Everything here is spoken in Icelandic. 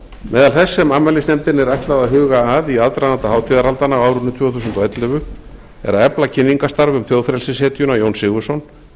meðal þess sem afmælisnefndinni er ætlað að huga að í aðdraganda hátíðarhaldanna á árinu tvö þúsund og ellefu er að efla kynningarstarf um þjóðfrelsishetjuna jón sigurðsson